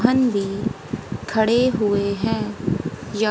भी खड़े हुए हैं या--